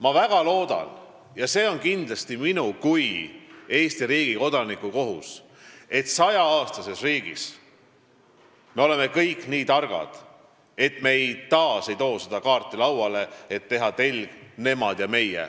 Ma väga loodan – ja see on kindlasti minu kui Eesti riigi kodaniku kohus –, et 100-aastases riigis me oleme kõik nii targad ega too uuesti välja seda kaarti, millega luua telg "nemad ja meie".